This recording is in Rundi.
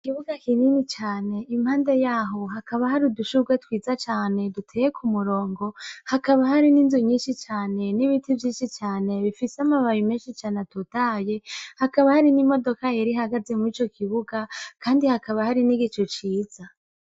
Ikibuga kinini cane impande yaho hakaba hari udushurwe twiza cane duteye ku murongo hakaba hari n'inzu nyinshi cane n'ibiti vyinshi cane bifise amabayo imenshi cane atutaye hakaba hari n'imodoka yeri hagaze mu ico kibuga, kandi hakaba hari n'igico ciza.